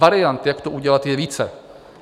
Variant, jak to udělat, je více.